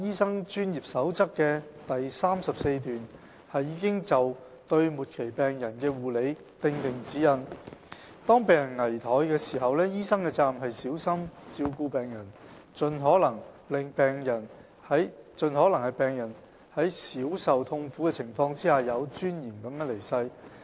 三《專業守則》的第34段已就對末期病人的護理訂定指引。當病人危殆時，醫生的責任是小心照顧病人，盡可能令病人在少受痛苦的情況下有尊嚴地去世。